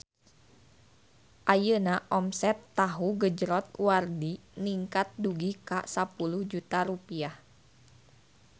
Ayeuna omset Tahu Gejrot Wardi ningkat dugi ka 10 juta rupiah